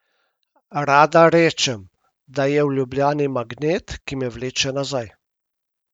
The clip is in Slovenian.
Rada rečem, da je v Ljubljani magnet, ki me vleče nazaj.